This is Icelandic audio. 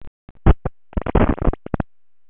Inni í herbergi, sagði Kjartan og horfði ögrandi á móti.